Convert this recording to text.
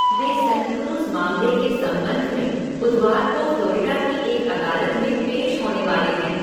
वे Suncruz मामले के संबंध में बुधवार को फ़्लोरिडा की एक अदालत में पेश होने वाले हैं।